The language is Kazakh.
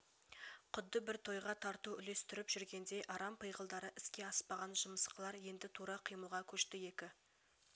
құдды бір тойға тарту үлестіркп жүргендей арам пиғылдары іске аспаған жымысқылар енді тура қимылға көшті екі